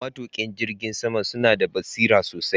Matuka jirgin sama suna da basira sosai